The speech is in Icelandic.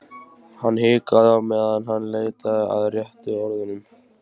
Hann hikaði á meðan hann leitaði að réttu orðunum.